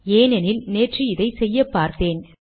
ஏனெனில் நேற்று இதை செய்யப்பார்த்தேன்